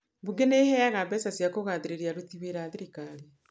"Bunge nĩ ĩheaga mbeca cia kũgathĩrĩria aruti wĩra a thirikari.